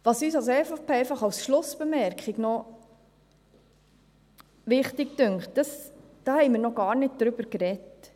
Als Schlussbemerkung: Was uns von der EVP noch wichtig erscheint, darüber haben wir noch gar nicht gesprochen.